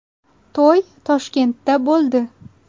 To‘y Toshkentda bo‘ldi.